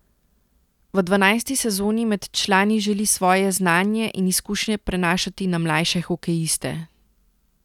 V dvanajsti sezoni med člani želi svoje znanje in izkušnje prenašati na mlajše hokejiste.